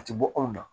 A ti bɔ anw na